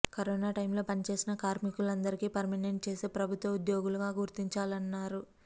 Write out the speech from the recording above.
corona టైంలో పనిచేసిన కార్మికులందరికీ పర్మినెంట్ చేసి ప్రభుత్వ ఉద్యోగులుగా గుర్తించించాలన్నారు